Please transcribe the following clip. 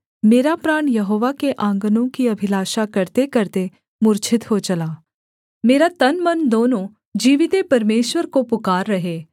मेरा प्राण यहोवा के आँगनों की अभिलाषा करतेकरते मूर्छित हो चला मेरा तन मन दोनों जीविते परमेश्वर को पुकार रहे